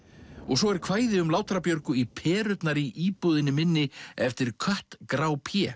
svo er kvæði um Björgu í perurnar í íbúðunni minni eftir kött grá